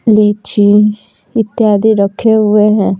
लीची इत्यादि रखे हुए हैं।